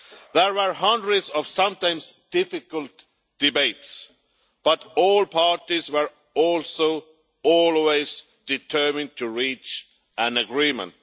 There were hundreds of sometimes difficult debates, but all parties were also always determined to reach an agreement.